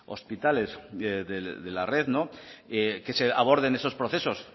hospitales de la red no que se aborden esos procesos